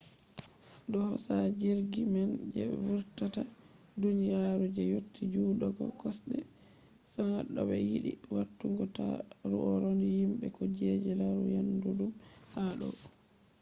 do hosa jirgi man je vurtata duniyaru je yotti jutugo kosde 100 to be yidi watugo tauraro himbe ko kuje larugo dayudum ha do